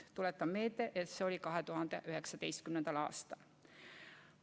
Tuletan meelde, et see oli 2019. aastal.